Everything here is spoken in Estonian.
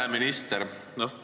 Hea minister!